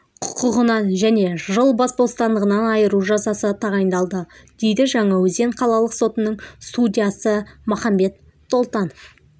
құқығынан және жыл бас бостандығынан айыру жазасы тағайындалды дейді жаңаөзен қалалық сотының судьясы махамбет толтанов